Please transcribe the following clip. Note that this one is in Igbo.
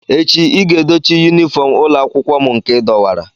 Echi ị ga edochi yunifọm ụlọ akwụkwọ m nke ị dọwara!